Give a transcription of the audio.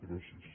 gràcies